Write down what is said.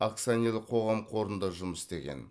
акционерлік қоғам қорында жұмыс істеген